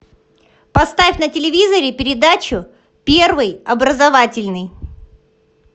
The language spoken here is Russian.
поставь на телевизоре передачу первый образовательный